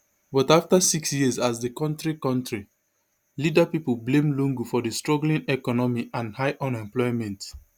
but afta six years as di kontri kontri leader pipo blame lungu for di struggling economy and high unemployment